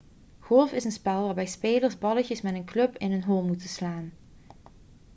golf is een spel waarbij spelers balletjes met een club in een hole moeten slaan